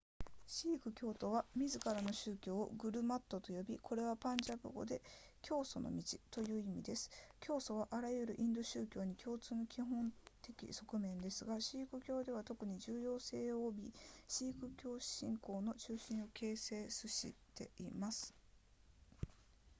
シーク教徒は自らの宗教をグルマットと呼びこれはパンジャブ語で教祖の道という意味です教祖はあらゆるインド宗教に共通の基本的側面ですがシーク教では特に重要性を帯びシーク教信仰の中心を形成すしています